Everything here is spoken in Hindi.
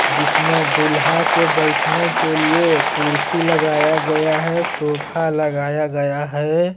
जिसमें दुल्हा के बैठने के लिए कुर्सी लगाया गया है सोफा लगाया गया है।